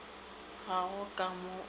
ga go ka mo o